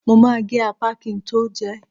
Mo ma gé ápà kin tó jẹẹ́.